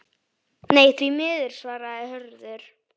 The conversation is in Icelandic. Nei, því miður svarar Hörður.